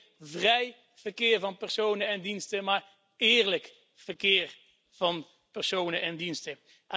Niet alleen vrij verkeer van personen en diensten, maar eerlijk verkeer van personen en diensten.